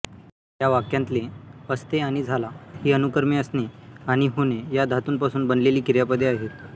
या वाक्यांतले असते आणि झाला ही अनुक्रमे असणे आणि होणे या धातूंपासून बनलेली क्रियापदे आहेत